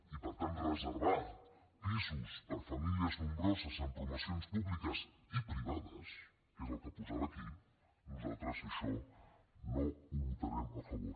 i per tant reservar pisos per a famílies nombroses en promocions públiques i privades que és el que posava aquí nosaltres això no ho votarem a favor